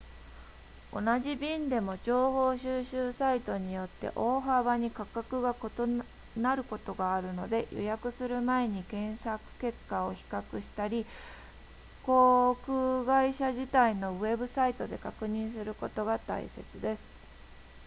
同じ便でも情報収集サイトによって大幅に価格が異なることがあるので予約する前に検索結果を比較したり航空会社自体のウェブサイトで確認することが大切です